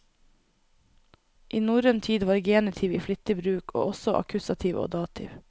I norrøn tid var genitiv i flittig bruk, og også akkusativ og dativ.